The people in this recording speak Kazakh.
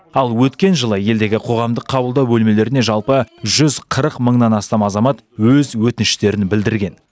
ал өткен жылы елдегі қоғамдық қабылдау бөлмелеріне жалпы жүз қырық мыңнан астам азамат өз өтініштерін білдірген